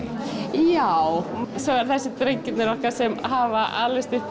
já svo eru það drengirnir okkar sem hafa alist upp